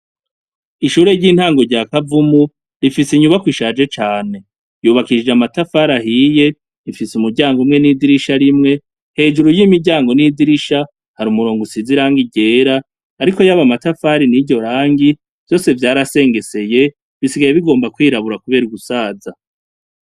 Ishure ry'intangu rya kavumu rifise inyubako ishaje cane yubakishije amatafari ahiye rifise umuryango umwe n'idirisha rimwe hejuru y'imiryango n'idirisha hari umurongo usizirangi ryera, ariko yabo matafari ni ryo rangi vyose vyarasengeseye bisigaye bigomba kwirabura, kubera ugusaza.